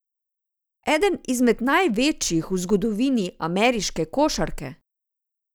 Eden izmed največjih v zgodovini ameriške košarke!